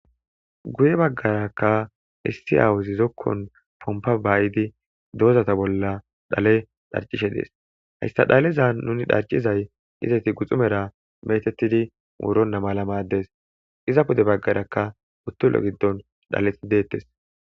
guye baggarakka issi aawuzizokkon pompa baayidi doozata bolla dhale dharcishe dees hayssa dhaleza nuni dharcizay izati guxumera metettidi muuronna malamaddes iza pude baggarakka uttulo giddon dhaleti deettes